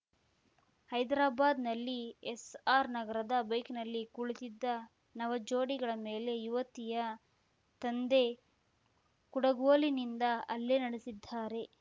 ಹೈದರಾಬಾದ್‌ನಲ್ಲಿ ಎಸ್‌ಆರ್‌ ನಗರದ ಬೈಕ್‌ನಲ್ಲಿ ಕುಳಿತಿದ್ದ ನವ ಜೋಡಿಗಳ ಮೇಲೆ ಯುವತಿಯ ತಂದೆ ಕುಡುಗೋಲಿನಿಂದ ಹಲ್ಲೆ ನಡೆಸಿದ್ದಾರೆ